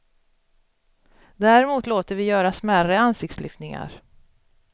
Däremot låter vi göra smärre ansiktslyftningar.